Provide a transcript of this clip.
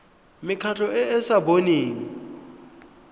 mekgatlho e e sa boneng